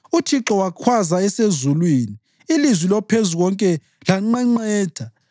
UThixo wakhwaza esezulwini; ilizwi loPhezukonke lanqenqetha.